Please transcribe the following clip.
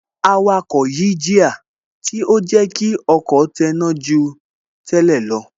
Awakọ̀ yí jíà, tí ó jẹ́ kí ọkọ̀ tẹná ju tẹ́lẹ̀ lọ